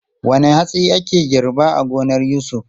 Wane hatsi ake girba a gonar Yusuf?